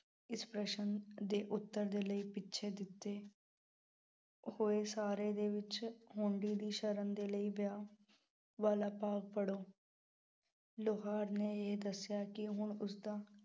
ਇਸ ਪ੍ਰਸ਼ਨ ਦੇ ਉੱਤਰ ਦੇ ਲਈ ਪਿੱਛੇ ਦਿੱਤੇ ਹੋਏ ਸਾਰ ਦੇ ਵਿੱਚ ਦੀ ਸ਼ਰਨ ਦੇ ਲਈ ਵਿਆਹ ਵਾਲਾ ਭਾਗ ਪੜੋ ਲੁਹਾਰ ਨੇ ਇਹ ਦੱਸਿਆ ਕਿ ਹੁਣ ਉਸਦਾ